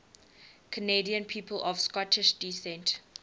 canadian people of scottish descent